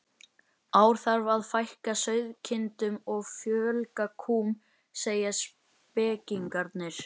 ár þarf að fækka sauðkindum og fjölga kúm, segja spekingarnir.